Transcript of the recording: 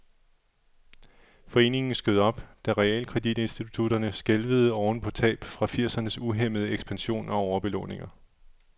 Foreningen skød op, da realkreditinstitutterne skælvede oven på tab fra firsernes uhæmmede ekspansion og overbelåninger.